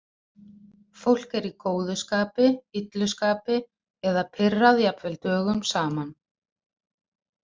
Fólk er í góðu skapi, illu skapi eða pirrað jafnvel dögum saman.